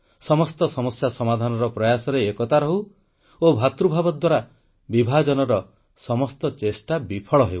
ସମସ୍ତ ସମସ୍ୟା ସମାଧାନର ପ୍ରୟାସରେ ଏକତା ରହୁ ଓ ଭ୍ରାତୃଭାବ ଦ୍ୱାରା ବିଭାଜନର ସମସ୍ତ ଚେଷ୍ଟା ବିଫଳ ହେଉ